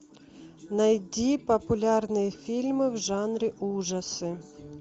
найди популярные фильмы в жанре ужасы